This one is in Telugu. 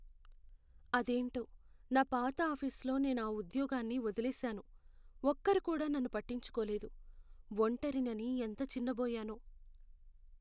అదేంటో, నా పాత ఆఫీసులో నేను ఆ ఉద్యోగాన్ని వదిలేశాను. ఒక్కరూ కూడా నన్ను పట్టించుకోలేదు. ఒంటరినని ఎంత చిన్నబోయానో.